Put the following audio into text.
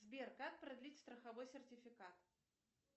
сбер как продлить страховой сертификат